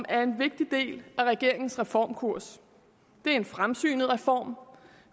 er en vigtig del af regeringens reformkurs det er en fremsynet reform